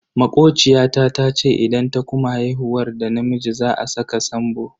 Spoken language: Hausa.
Makociya ta tace idan ta kuma haihuwar da namiji za a saka Sambo.